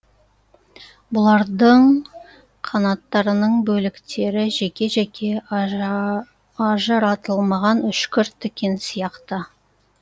бұлардың қанаттарының бөліктері жеке жеке ажыратылмаған үшкір тікен сияқты